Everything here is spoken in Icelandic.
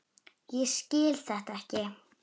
Ég skil þetta ekki!